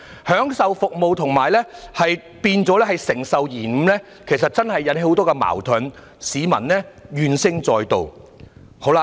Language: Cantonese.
享受服務變了承受延誤，其實真的引起了很多矛盾，令市民怨聲載道。